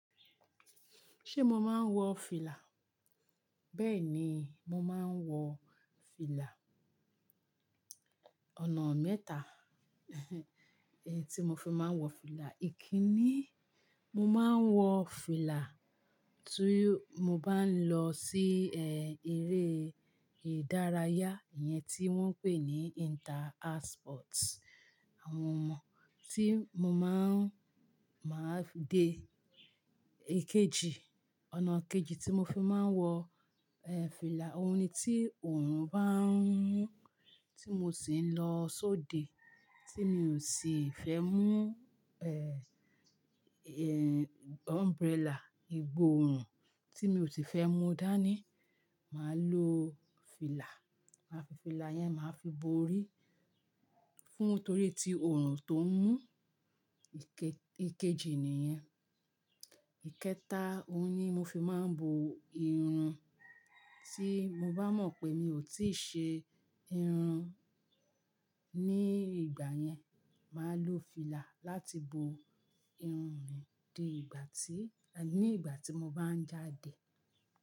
Ṣé mo máa ń wọ fìlà? Bẹ́ẹ̀ ni, mo máa ń wọ fìlà. Ọ̀nà mẹ́ta èyí tí mo fi máa ń wọ fìlà. Ìkíni, mo máa ń wọ fìlà tí mo bá ń lọ sí eré ìdárayá iyẹn tí wọ́n ń pè ní inter house sports. Àwọn tí máa fi dé. Èkejì, ọ̀nà kejì tí mo fi máa ń wọ, fìlà, ohun ni tí òòrùn bá ń mú tí mo sì ń lọ sóde tí mi ò sì fẹ́ mú umbrella. Ìgbòòòrùn tí mi ò sì fẹ́ mú dání, màá lo fìlà. Màá fi fìlà yẹn, màá fi bo orí fún torí ti òòrùn tó ń mú. Èkejì nìyẹn. Ìkẹta, ohun ni mo fi máa ń bo irun. Tí mo bá mọ̀ pé mi ò tíì ṣe irun ní ìgbà yẹn, màá lo fìlà láti bo irun mi dé ìgbà tí, ní ìgbà tí mo bá ń jáde.